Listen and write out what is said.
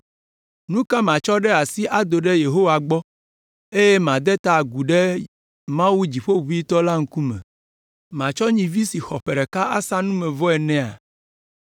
Nu ka matsɔ ɖe asi ado ɖe Yehowa gbɔ eye made ta agu ɖe Mawu dziƒoʋĩtɔ la ŋkume? Matsɔ nyivi si xɔ ƒe ɖeka la asa numevɔ nɛa?